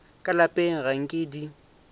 ka lapeng ga nke di